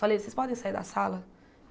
Falei, vocês podem sair da sala?